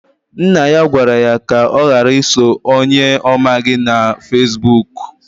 Nna ya gwara ya ka ọ ghara iso onye ọ maghị na Fesbụụk.